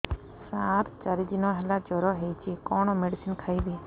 ସାର ଚାରି ଦିନ ହେଲା ଜ୍ଵର ହେଇଚି କଣ ମେଡିସିନ ଖାଇବି